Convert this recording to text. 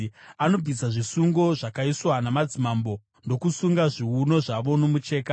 Anobvisa zvisungo zvakaiswa namadzimambo agosunga zviuno zvavo nomucheka.